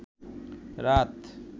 রাত